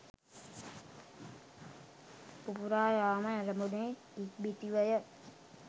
පුපුරා යාම ඇරඹුණේ ඉක්බිතිවය.